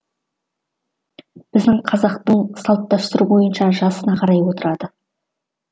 біздің қазақтың салт дәстүрі бойынша жасына қарай отырады